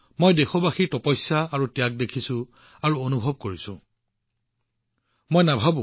মই দেশবাসীৰ তপস্যা আৰু ত্যাগ দেখিছো আৰু অনুভৱ কৰিছো